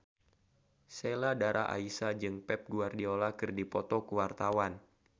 Sheila Dara Aisha jeung Pep Guardiola keur dipoto ku wartawan